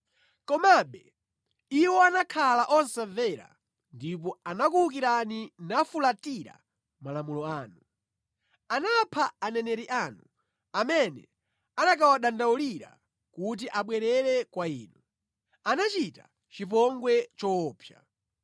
“Komabe iwo anakhala osamvera ndipo anakuwukirani nafulatira malamulo anu. Anapha aneneri anu, amene anakawadandaulira kuti abwerere kwa Inu. Anachita chipongwe choopsa.